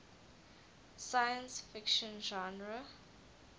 science fiction genre